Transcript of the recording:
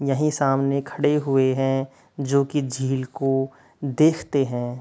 यही सामने खड़े हुए हैं जो कि झील को देखते हैं।